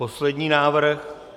Poslední návrh.